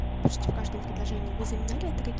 почти в каждом предложении вы замечали это каки